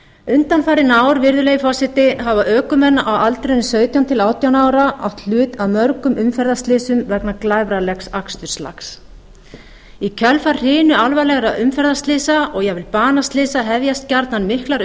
undanfarin ár virðulegi forseti hafa ökumenn á aldrinum sautján til átján ára átt hlut að mörgum umferðarslysum vegna glæfralegs aksturslag í kjölfar hrinu alvarlegra umferðarslysa og jafnvel banaslysa hefjast gjarnan miklar